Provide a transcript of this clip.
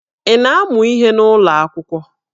Ị na-amụ ihe n'ụlọ akwụkwọ?